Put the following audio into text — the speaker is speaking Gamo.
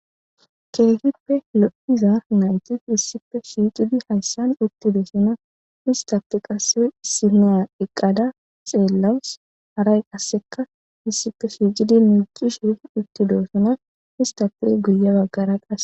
keehippe lo'iza naytis issippe shiqidi hayssan uttidosona istape qarsa sima eqqada xeellawus haray qasseka issippe siiqidi miicishe uttidossna, istappe guye baggara qasse